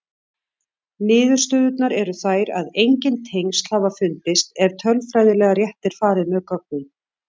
Niðurstöðurnar eru þær að engin tengsl hafa fundist ef tölfræðilega rétt er farið með gögnin.